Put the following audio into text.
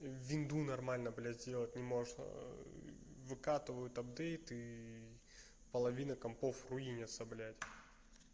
винду нормально блядь сделать не может выкатывают апдейты и половина компов руинятся блядь